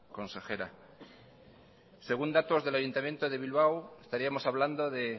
consejera según datos del ayuntamiento de bilbao estaríamos hablando de